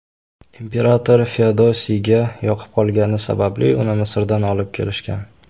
Imperator Feodosiyga yoqib qolgani sababli uni Misrdan olib kelishgan.